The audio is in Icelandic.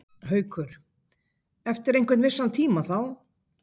Haukur: Eftir einhvern vissan tíma þá?